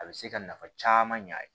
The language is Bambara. A bɛ se ka nafa caman y'a ye